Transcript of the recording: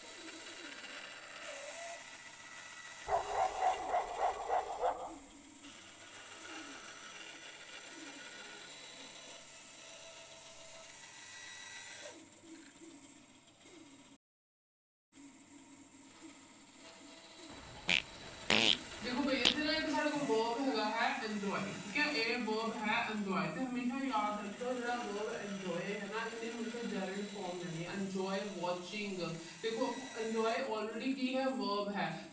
ਦੇਖੋ ਵੀ ਇਥੇ ਨਾ ਇੱਕ ਸਾਡੇ ਕੋਲ verb ਹੈਗਾ enjoy ਇਹ verb ਹੈ enjoy ਹਮੇਸ਼ਾ ਯਾਦ ਰੱਖੀਓ ਜਿਹੜਾ verb enjoy ਹੈ ਨਾ ਇਹਨੇ ਹਮੇਸ਼ਾ gerund form ਲੈਣੀ ਆ। enjoy watching ਦੇਖੋ enjoy already ਕੀ ਹੈ verb ਹੈ।